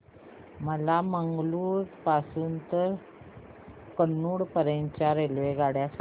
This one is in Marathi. मला मंगळुरू पासून तर कन्नूर पर्यंतच्या रेल्वेगाड्या सांगा